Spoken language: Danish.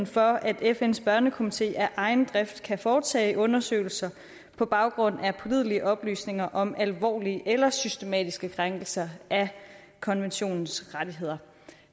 for at fns børnekomité af egen drift kan foretage undersøgelser på baggrund af pålidelige oplysninger om alvorlige eller systematiske krænkelser af konventionens rettigheder